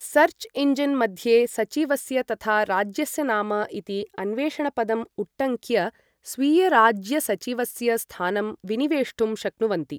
Search engine मध्ये सचिवस्य तथा राज्यस्य नाम इति अन्वेषणपदम् उट्टङ्क्य स्वीयराज्यसचिवस्य स्थानं विनिवेष्टुं शक्नुवन्ति।